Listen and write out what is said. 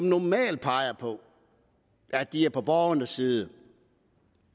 normalt peger på at de er på borgernes side